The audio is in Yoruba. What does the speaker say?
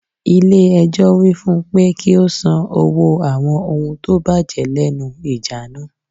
Ilé ẹjọ́ wí fún pe kí ó san owó àwọn ohun tó bàjẹ́ lẹ́nu ìjà náà.